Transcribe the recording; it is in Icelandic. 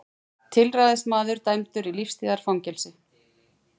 Tilræðismaður dæmdur í lífstíðarfangelsi